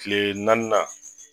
Tile naani nan